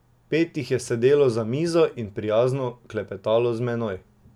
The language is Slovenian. Pet jih je sedelo za mizo in prijazno klepetalo z menoj.